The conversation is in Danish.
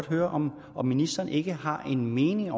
høre om om ministeren ikke selv har en mening